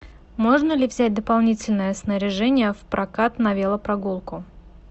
можно ли взять дополнительное снаряжение в прокат на велопрогулку